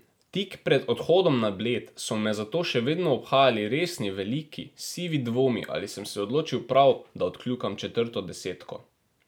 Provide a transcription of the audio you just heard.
Tik pred odhodom na Bled so me zato še vedno obhajali resni, veliki, sivi dvomi, ali sem se odločil prav, da odkljukam četrto desetko.